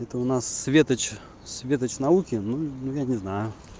это у нас светоч светоч науки ну я не знаю